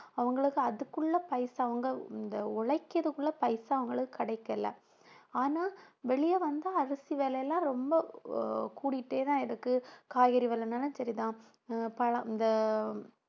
அவங்களுக்கு அதுக்குள்ள பைசா அவங்க இந்த உழைக்கிறதுக்குள்ள பைசா அவங்களுக்கு கிடைக்கல ஆனா வெளிய வந்து அரிசி விலை எல்லாம் ரொம்ப கூடிட்டேதான் இருக்கு காய்கறி விலைன்னாலும் சரிதான் ஆஹ் பழம் இந்த